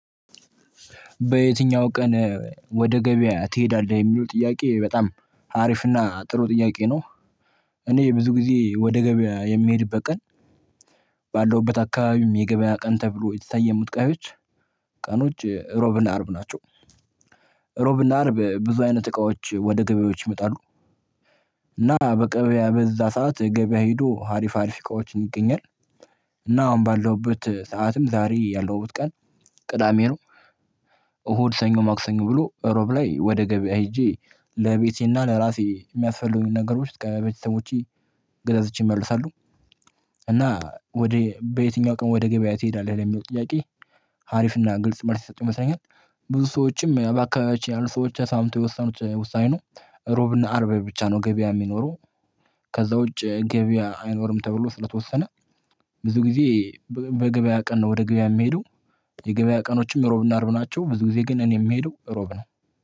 በየትኛው ቀን ወደ ገበያ ትሄዳለህ የሚሉ ጥያቄ በጣም አሪፍና ጥሩ ጥያቄ ነው። እኔ ብዙ ጊዜ ወደ ገበያ የምሄድበት ቀን። ባለውበት አካባቢም የገበያ ቀን ተብሎ የተሰየሙት ቀዮች ቀኖች ሮብና አርብ ናቸው። ሮብና አርብ ብዙ አይነት እቃዎች ወደ ገበያዎች ይመጣሉ። እና በቀበያ በዛ ሰዓት ገበያ ሄዶ ሀሪፍ ሀሪፍ እቃዎችን ይገኛል። እና አሁን ባለውበት ሰዓትም ዛሬ ያለውት ቀን ቅዳሜ ነው። እሁድ ሰኞ ማክሰኞ ብሎ እሮብ ላይ ወደ ገበያ ሄጄ ለቤቴና ለራሴ የሚያስፈልጉኝ ነገሮች ለቤተሰቦቼ ገዛዝቼ ይመልሳሉ። እና ወደ በየትኛው ቀን ወደ ገበያ ትሄዳለህ ለሚለው ጥያቄ? ሀሪፍና ግልጽ ማለት ይሰጡ ይመስለኛል። ብዙ ሰዎችም በአካባቢያችን ያሉ ሰዎች ተስማምተው የወሰኑት ውሳኔ ነው። ሮብና አርብ ብቻ ነው ገበያ የሚኖረው። ከዛ ውጪ ገበያ አይኖርም ተብሎ ስለተወሰነ። ብዙ ጊዜ በገበያ ቀን ነው ወደ ገበያ የምሄደው። የገበያ ቀኖችም ሮብና አርብ ናቸው ብዙ ጊዜ ግን እኔ የምሄደው ሮብ ነው